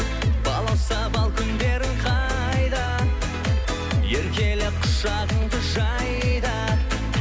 балауса бал күндерің қайда еркеле құшағыңды жай да